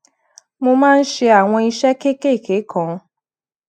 mo máa ń ṣe àwọn iṣé kéékèèké kan